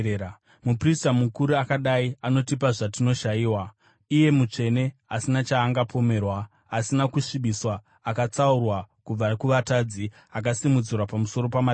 Muprista mukuru akadai anotipa zvatinoshayiwa, iye mutsvene, asina chaangapomerwa, asina kusvibiswa, akatsaurwa kubva kuvatadzi, akasimudzirwa pamusoro pamatenga.